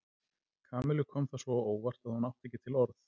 Kamillu kom það svo á óvart að hún átti ekki til orð.